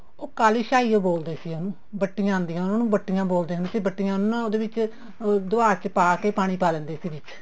ਉਹ ਕਾਲੀ ਸਿਹਾਈ ਹੀ ਬੋਲਦੇ ਸੀ ਉਹਨੂੰ ਬੱਟੀਆਂ ਆਉਂਦੀਆਂ ਹੁੰਦੀਆਂ ਬੱਟੀਆਂ ਬੋਲਦੇ ਹੁੰਦੇ ਸੀ ਬੱਟੀਆਂ ਨੂੰ ਨਾ ਉਹਦੇ ਵਿੱਚ ਅਮ ਦਵਾਤ ਚ ਪਾ ਕੇ ਪਾਣੀ ਪਾ ਲੇਂਦੇ ਸੀ ਵਿੱਚ